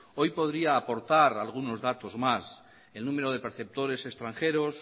hoy podría aportar algunos datos más el número de perceptores extranjeros